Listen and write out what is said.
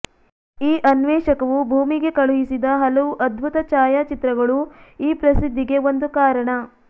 ಈ ಅನ್ವೇಷಕವು ಭೂಮಿಗೆ ಕಳುಹಿಸಿದ ಹಲವು ಅದ್ಭುತ ಛಾಯಚಿತ್ರಗಳೂ ಈ ಪ್ರಸಿದ್ಧಿಗೆ ಒಂದು ಕಾರಣ